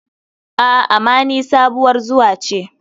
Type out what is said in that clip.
A,ama ni sabuwar zuwa ce.